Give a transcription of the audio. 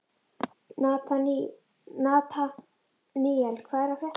Nataníel, hvað er að frétta?